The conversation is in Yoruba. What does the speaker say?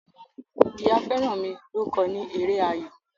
Ìyá Feranmi ló kọ ni èrè ayọ.